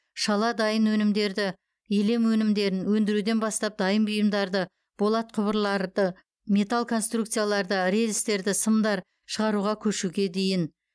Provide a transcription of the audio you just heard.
шала дайын өнімдерді илем өнімдерін өндіруден бастап дайын бұйымдарды болат құбырларды металл конструкцияларды рельстерді сымдар шығаруға көшуге дейін